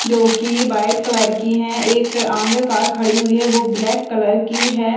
जोकि white colour की है एक आगे कार खड़ी हुई है वो ब्लैक कलर की है ।